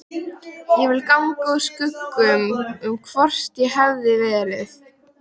Ég vildi ganga úr skugga um hvort svo hefði verið.